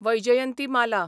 Vyjayanthimala